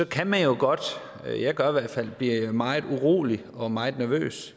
kan man jo godt blive meget urolig og meget nervøs